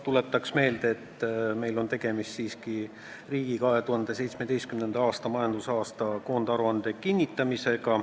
Tuletan meelde, et meil on tegemist siiski riigi 2017. aasta majandusaasta koondaruande kinnitamisega.